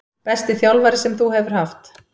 Besti þjálfari sem þú hefur haft?